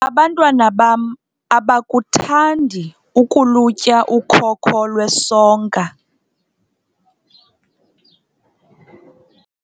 abantwana bam abakuthandi ukulutya ukhoko lwesonka